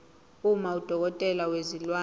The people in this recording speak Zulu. uma udokotela wezilwane